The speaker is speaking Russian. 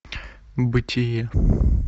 бытие